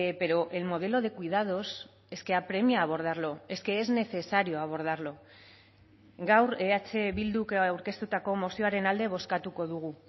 pero el modelo de cuidados es que apremia a abordarlo es que es necesario abordarlo gaur eh bilduk aurkeztutako mozioaren alde bozkatuko dugu